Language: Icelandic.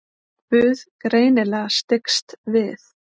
Guð greinilega styggst við.